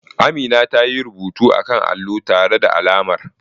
Amina ta yi rubuta akan allo tare da alamar.